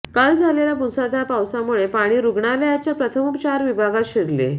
काल झालेल्या मुसळधार पावसामुळे पाणी रूग्णालयाच्या प्रथमोपचार विभागात शिरले